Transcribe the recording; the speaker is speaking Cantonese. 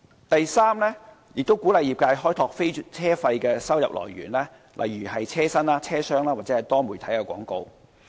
第三，運輸署鼓勵業界開拓非車費的收入來源，例如車身、車廂或多媒體廣告。